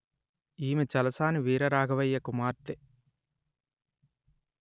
ఈమె చలసాని వీర రాఘవయ్య కుమార్తె